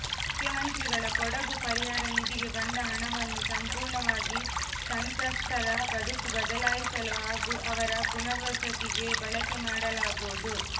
ಮುಖ್ಯಮಂತ್ರಿಗಳ ಕೊಡಗು ಪರಿಹಾರ ನಿಧಿಗೆ ಬಂದ ಹಣವನ್ನು ಸಂಪೂರ್ಣವಾಗಿ ಸಂತ್ರಸ್ತರ ಬದುಕು ಬದಲಾಯಿಸಲು ಹಾಗೂ ಅವರ ಪುನರ್ವಸತಿಗೆ ಬಳಕೆ ಮಾಡಲಾಗುವುದು